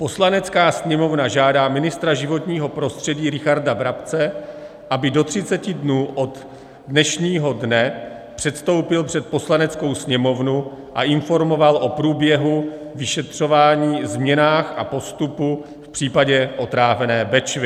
Poslanecká sněmovna žádá ministra životního prostředí Richarda Brabce, aby do 30 dnů od dnešního dne předstoupil před Poslaneckou sněmovnu a informoval o průběhu vyšetřování, změnách a postupu v případě otrávené Bečvy.